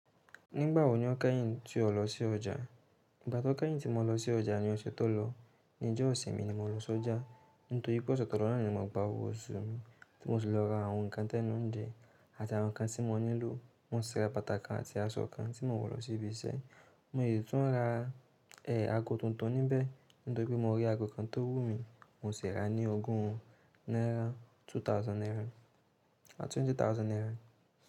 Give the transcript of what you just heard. Nígbà wọ ni o kẹ́yìn tí o lọ sí ọjà? Ìgbà tó kẹ́yìn tí mo lọ sí ọjà ni ọ̀sẹ̀ tó lọ. Ni ọjọ́ ìsinmi ni mo lọ sí ọjà, nítorí pé ọ̀sẹ̀ tó lọ náà ni mo gba owó oṣù mi, tí mo sì lọ ra àwọn nǹkan tẹ́nu njẹ àti àwọn nǹkan tí mo nílò. Mo sè rà bàtà kan àti aṣọ kan tí mo wọ̀ lọ sí ibi iṣẹ́. Mo dè tún rà ẹ̀ aago tuntun níbẹ̀, nítorí pé mo rí aago kan tó wú mi, mo sì rà á ní ogún náírà, two thousand náírà àti twenty thousand náírà.